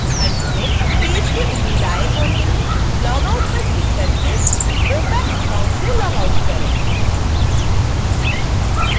अंत में पेज के ऊपरी दाएं कोने में logout पर क्लिक करके opac account से लॉगआउट करें